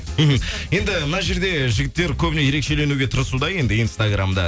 мхм енді мына жерде жігіттер көбіне ерекшеленуге тырысуда енді инстаграммда